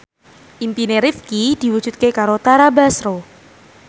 impine Rifqi diwujudke karo Tara Basro